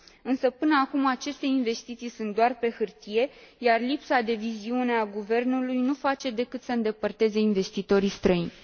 Însă, până acum, aceste investiții sunt doar pe hârtie, iar lipsa de viziune a guvernului nu face decât să îndepărteze investitorii străini.